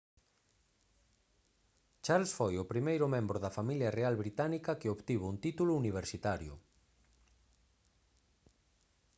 charles foi o primeiro membro da familia real británica que obtivo un título universitario